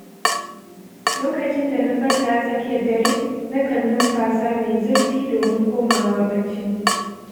Lokacin da na farka a tsakiyar dare, na kan numfasa mai zurfi domin komawa bacci.